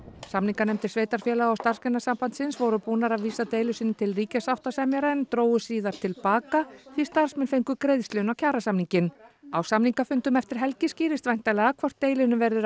samninganefndir sveitarfélaga og Starfsgreinasambandsins voru búnar að vísa deilu sinni til ríkissáttasemjara en drógu síðar til baka því starfsmenn fengu greiðslu inn á kjarasamninginn á samningafundum eftir helgi skýrist væntanlega hvort deilunni verður